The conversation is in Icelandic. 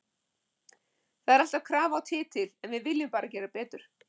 Það er alltaf krafa á titil en við viljum bara gera betur.